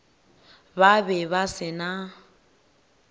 ba be ba se na